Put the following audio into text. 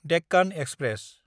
Deccan express